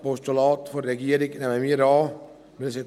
Das Postulat der Regierung nehmen wir an.